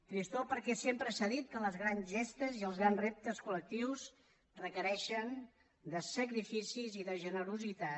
tristor perquè sempre s’ha dit que les grans gestes i els grans reptes col·lectius requereixen sacrificis i generositat